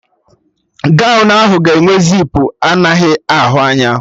Gọwn ahụ ga enwe zipu anaghị ahụ anya